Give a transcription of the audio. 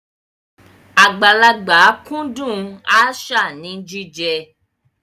Àgbàlagbà kúndùn aṣáà ní jíjẹ.